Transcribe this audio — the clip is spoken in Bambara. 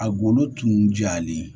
A golo tun jalen